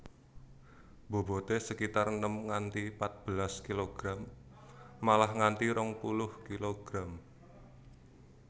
Bobote sekitar enem nganti patbelas kilogram malah nganti rong puluh kilogram